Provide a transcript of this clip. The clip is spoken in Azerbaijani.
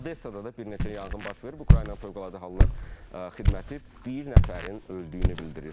Odessa-da da bir neçə yanğın baş verib, Ukraynanın Fövqəladə Hallar xidməti bir nəfərin öldüyünü bildirir.